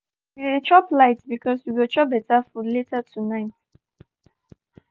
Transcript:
today we dey chop light because we go chop better food later tonight.